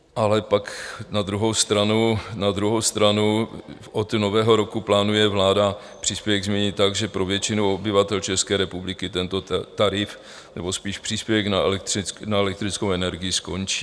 Ale pak na druhou stranu od Nového roku plánuje vláda příspěvek změnit tak, že pro většinu obyvatel České republiky tento tarif, nebo spíše příspěvek na elektrickou energii skončí.